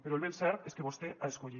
però el ben cert és que vostè ha escollit